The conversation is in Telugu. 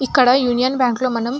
ఇక్కడ యూనియన్ బ్యాంకు లో మనం --